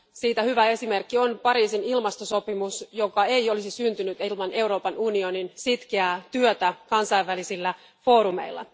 Siitä hyvä esimerkki on Pariisin ilmastosopimus, joka ei olisi syntynyt ilman Euroopan unionin sitkeää työtä kansainvälisillä foorumeilla.